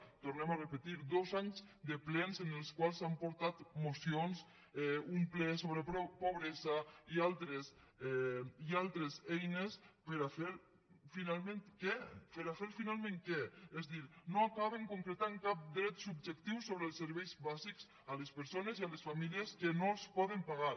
ho tornem a repetir dos anys de plens en els quals s’han portat mocions un ple sobre pobresa i altres eines per a fer finalment què per a fer finalment què és a dir no acaben concretant cap dret subjectiu sobre els serveis bàsics a les persones i a les famílies que no els poden pagar